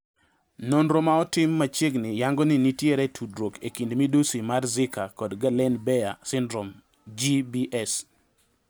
Nonro maotim machiegni yango ni nitiere tudruok ekind midusi mar zika kod Guillain Barre syndrome (GBS).